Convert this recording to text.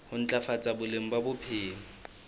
ho ntlafatsa boleng ba bophelo